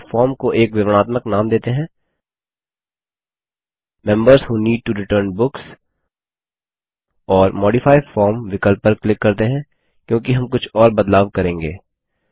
यहाँ अपने फॉर्म को एक विवरणात्मक नाम देते हैं members who need to return books और मॉडिफाई फॉर्म विकल्प पर क्लिक करते हैं क्योंकि हम कुछ और बदलाव करेंगे